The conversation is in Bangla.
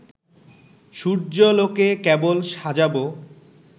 সূর্যালোকে কেবল সাজাবো